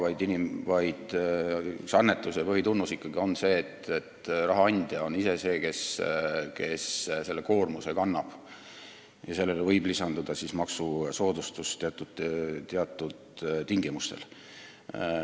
Annetuse üks põhitunnus on ikkagi see, et raha andja kannab ise seda koormust, millele võib lisanduda maksusoodustus teatud tingimustel.